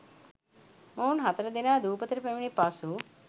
මොවුන් හතරදෙනා දූපතට පැමිණි පසු